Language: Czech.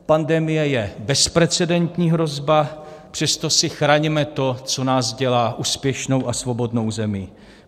Pandemie je bezprecedentní hrozba, přesto si chraňme to, co nás dělá úspěšnou a svobodnou zemí.